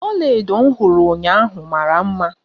Ọlaedo m hụrụ ụnyaahụ mara mma.